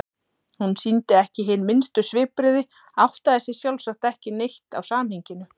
Hún sýndi ekki hin minnstu svipbrigði, áttaði sig sjálfsagt ekki neitt á samhenginu.